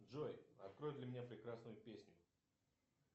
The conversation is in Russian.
джой открой для меня прекрасную песню